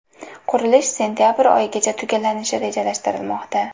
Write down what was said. Qurilish sentabr oyigacha tugallanishi rejalashtirilmoqda.